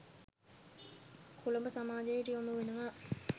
කොළඹ සමාජයට යොමු වෙනව